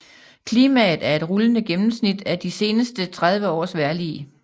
Klimaet er et rullende gennemsnit af de seneste 30 års vejrlig